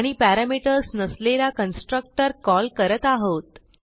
आणि पॅरामीटर्स नसलेला constructor call करत आहोत